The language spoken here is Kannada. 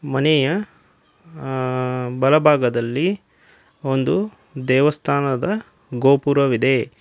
ಮನೆಯ ಆ ಬಲಭಾಗದಲ್ಲಿ ಒಂದು ದೇವಸ್ಥಾನದ ಗೋಪುರವಿದೆ.